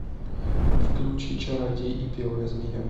включи чародей и белая змея